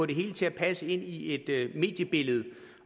det hele til at passe ind i et mediebillede